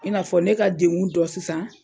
I n'a fɔ ne ka dengun dɔ sisan.